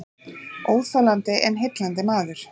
Óþolandi en heillandi maður